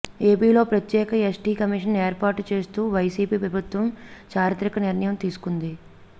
ఏపీలో ప్రత్యేక ST commission ఏర్పాటు చేస్తూ వైసీపీ ప్రభుత్వం చారిత్రక నిర్ణయం తీసుకుంది